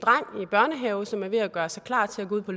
børnehave som er ved at gøre sig klar til at gå ud på